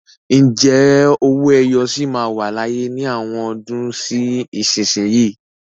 Ǹjẹ́ owó ẹyọ sì máa wà láyé ní àwọn ọdún sí ìsinsìnyí?